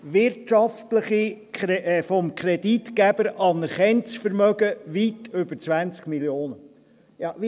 Wirtschaftliches, vom Kreditgeber anerkanntes Vermögen: weit über 20 Mio. Franken.